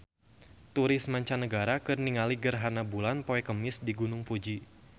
Turis mancanagara keur ningali gerhana bulan poe Kemis di Gunung Fuji